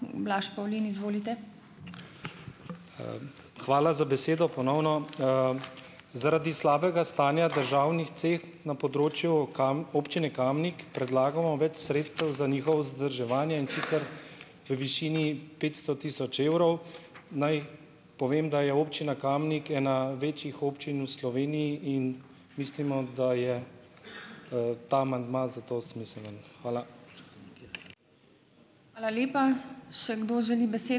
Hvala za besedo, ponovno. Zaradi slabega stanja državnih cest na področju Občine Kamnik predlagamo več sredstev za njihovo vzdrževanje, in sicer v višini petsto tisoč evrov. Naj povem, da je Občina Kamnik ena večjih občin v Sloveniji in mislimo, da je, ta amandma zato smiseln. Hvala.